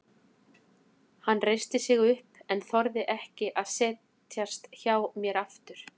Hann reisti sig upp en þorði ekki að setjast hjá mér aftur.